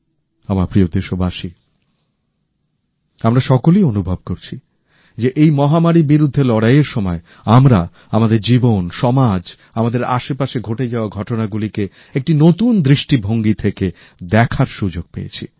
আমার প্রিয় দেশবাসী আমরা সকলেই অনুভব করছি যে এই মহামারীর বিরুদ্ধে লড়াইয়ের সময় আমরা আমাদের জীবন সমাজ আমাদের আশপাশে ঘটে যাওয়া ঘটনাগুলিকে একটি নতুন দৃষ্টিভঙ্গি থেকে দেখার সুযোগ পেয়েছি